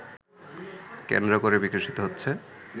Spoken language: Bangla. কেন্দ্র করে বিকশিত হচ্ছে